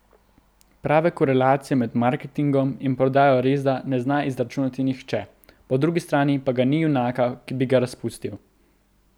Prave korelacije med marketingom in prodajo resda ne zna izračunati nihče, po drugi strani pa ga ni junaka, ki bi ga razpustil.